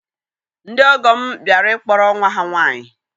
Ndị ọgọ m bịara ịkpọrọ nwa ha nwaanyị